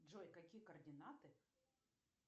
джой какие координаты